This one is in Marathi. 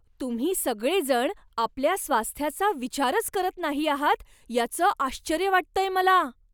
तुम्ही सगळेजण आपल्या स्वास्थ्याचा विचारच करत नाही आहात याचं आश्चर्य वाटतंय मला.